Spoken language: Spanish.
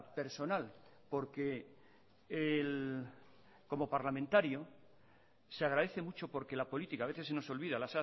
personal porque como parlamentario se agradece mucho porque la política a veces se nos olvida